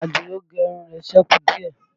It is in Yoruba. Àdìó gẹ irun rẹ̀ sẹ́kù díẹ̀